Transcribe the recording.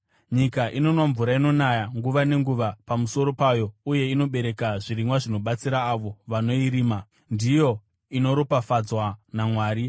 Nyika inonwa mvura inonaya nguva nenguva pamusoro payo uye inobereka zvirimwa zvinobatsira avo vanoirima, ndiyo inoropafadzwa naMwari.